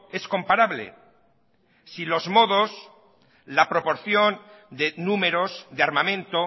es comparable si los modos la proporción de números de armamento